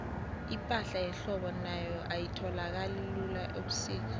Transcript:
ipahla yehlobo nayo ayitholakali lula ubusika